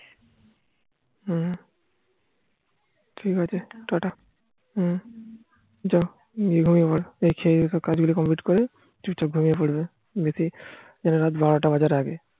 হম ঠিক আছে টাটা হম যাও আমি এগোই এবার দেখছি এবার কাজ গুলো complete করে চুপচাপ ঘুমিয়ে পড়ব রাত বারোটা বাজার আগে